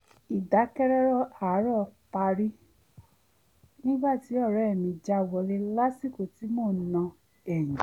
ìdákẹ́rọ́rọ́ àárọ̀ parí nígbà tí ọ̀rẹ́ mi já wọlé lásìkò tí mò ń na ẹ̀yìn